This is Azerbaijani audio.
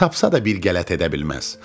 Tapsa da bir qələt edə bilməz.